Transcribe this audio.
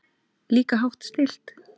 Líka hátt stillt.